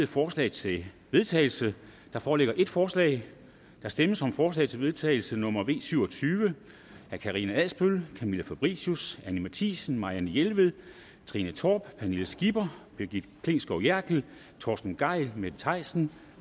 forslag til vedtagelse der foreligger et forslag der stemmes om forslag til vedtagelse nummer v syv og tyve af karina adsbøl camilla fabricius anni matthiesen marianne jelved trine torp pernille skipper brigitte klintskov jerkel torsten gejl mette thiesen